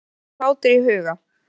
En Alla var ekki hlátur í huga.